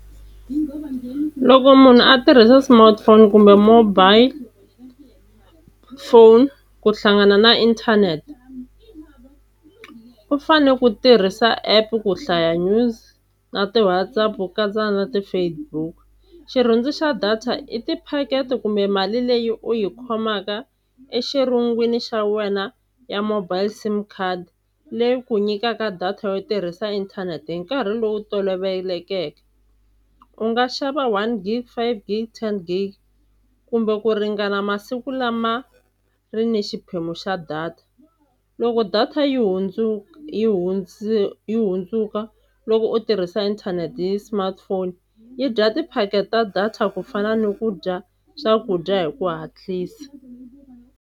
Loko munhu a tirhisa smartphone kumbe mobile phone, ku hlangana na inthanete u fane ku tirhisa app ku hlaya news na ti-WhatsApp ku katsa na ti-Facebook. Xirhundzu xa data i tiphakete kumbe mali leyi u yi khomaka exirhungwini xa wena ya mobile sim card leyi ku nyikaka data yo tirhisa inthanete hi nkarhi lowu tolovelekeke. U nga xava one gig, five gig, ten gig kumbe ku ringana masiku lama ri ni xiphemu xa data. Loko data yi yi hundzuka loko u tirhisa inthanete hi smartphone yi dya tiphakete ta data kufana ni ku dya swakudya hi ku hatlisa.